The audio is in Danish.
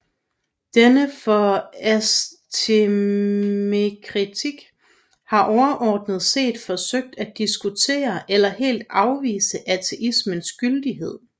Denne for ateismekritik har overordnet set forsøgt at diskutere eller helt afvise ateismens gyldighed